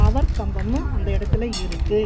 Power கம்பம்மு அந்த எடத்துல இருக்கு.